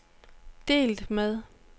delt med